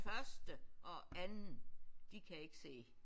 Første og anden de kan ikke se